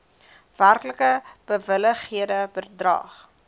werklik bewilligde bedrag